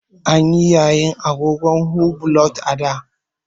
An yi yayin agogon hublot a da.